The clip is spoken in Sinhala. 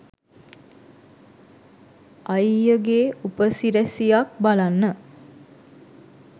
අයියගේ උපසිරැසියක් බලන්න